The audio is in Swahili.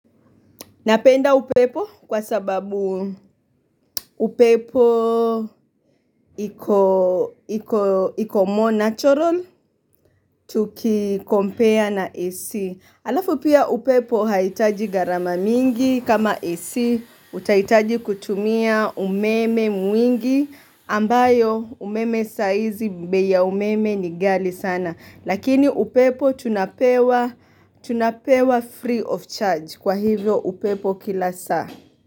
Napenda upepo kwa sababu upepo iko more natural tukicompare na AC. Alafu pia upepo haitaji gharama mingi kama AC utahitaji kutumia umeme mwingi ambayo umeme saizi bei ya umeme ni ghali sana. Lakini upepo tunapewa free of charge kwa hivyo upepo kila saa.